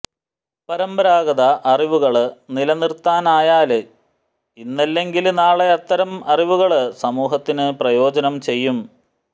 പരമ്പരാഗത അറിവുകള് നിലനിര്ത്താനായാല് ഇന്നല്ലെങ്കില് നാളെ അത്തരം അറിവുകള് സമൂഹത്തിന് പ്രയോജനം ചെയ്യും